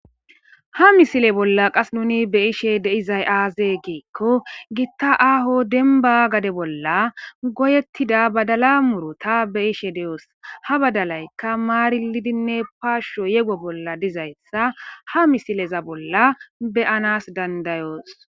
Ha misile bolla qas nuni be ishe deizay aaze geekko gitta aaho denba gade bolla goyettida badala murota be ishe de7oos ha badalaykka maarilidinne paashsho yego bolla dizayssa ha misileza bolla beyanas dandayoos